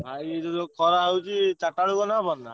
ଆଉ ଇଏ ଯୋଉ ଖରା ହଉଛି ଚାରିଟା ବେଳକୁ ଗଲେ ହବନି ?